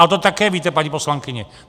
Ale to také víte, paní poslankyně!